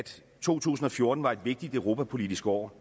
to tusind og fjorten bliver et vigtigt europapolitisk år